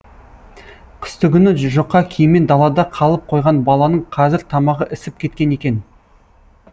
қыстыгүні жұқа киіммен далада қалып қойған баланың қазір тамағы ісіп кеткен екен